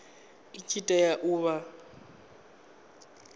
i tshi tea u vha